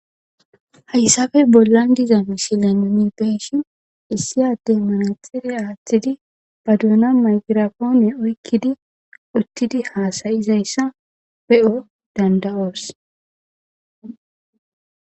hayssafe bollan diza misile mimipeshin issi adde manaxiriya aaththidi baduuna maygirafoone oykkidi uttidi haasayizayssa be7o danda7oos